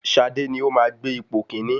Ṣadé ni ó máa gbé ipò kíní.